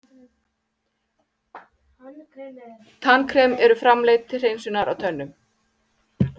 Tannkrem eru framleidd til hreinsunar á tönnum.